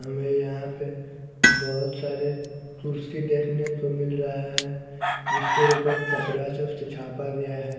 हमे यहां पे बहोत सारे कुर्सी देखने को मिल रहा है जिसके उपर कपरा से उसे झापा गया है।